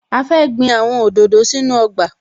A fẹ́ gbin àwọn òdòdó sínú ọgbà